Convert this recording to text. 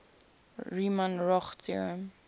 riemann roch theorem